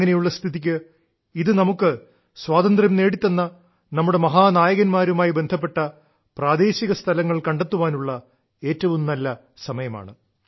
അങ്ങനെയുള്ള സ്ഥിതിക്ക് ഇത് നമുക്ക് സ്വാതന്ത്ര്യം നേടിത്തന്ന നമ്മുടെ മഹാ നായക•ാരുമായി ബന്ധപ്പെട്ട പ്രാദേശിക സ്ഥലങ്ങൾ കണ്ടെത്താനുള്ള ഏറ്റവും നല്ല സമയമാണ്